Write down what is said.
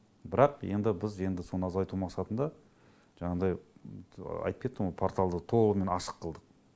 бірақ енді біз енді соны азайту мақсатында жаңағыдай айтып кеттім ғой порталды толығымен ашық қылдық